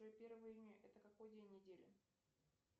первое июня это какой день недели